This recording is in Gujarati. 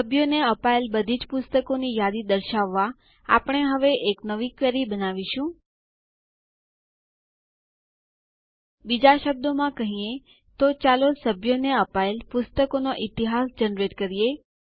સભ્યોને અપાયેલ બધીજ પુસ્તકોની યાદી દર્શાવવાં આપણે હવે એક નવી ક્વેરી બનાવીશું બીજા શબ્દોમાં કહીએ તો ચાલો સભ્યોને અપાયેલ પુસ્તકોનો ઈતિહાસ જનરેટ કરીએ